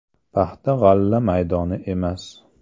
Paxta-g‘alla maydoni emas.